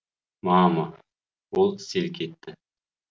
мама ол селк етті